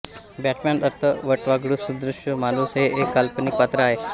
Batman अर्थ वटवाघूळसदृश माणूस हे एक काल्पनिक पात्र आहे